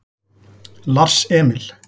Lars Emil